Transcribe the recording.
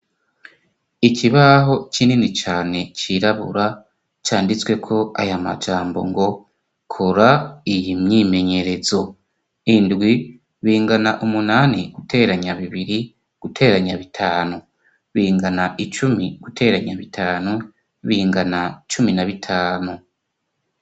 Ikibaho kinini cane cirabura, canditsweko aya majambo ngo kora iyi myimenyerezo. Indwi bingana umunani guteranya bibiri guteranya bitanu. Bingana icumi guteranya bitanu, bingana cumi na bitanu.